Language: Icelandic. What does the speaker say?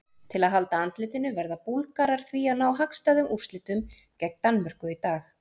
Til að halda andlitinu verða Búlgarar því að ná hagstæðum úrslitum gegn Danmörku í dag.